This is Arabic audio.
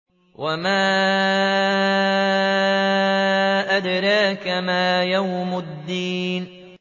وَمَا أَدْرَاكَ مَا يَوْمُ الدِّينِ